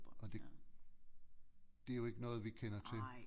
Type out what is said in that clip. Og det det er jo ikke noget vi kender til